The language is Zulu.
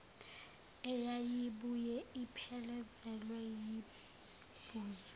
eyayibuye iphelezelwe yibhuzu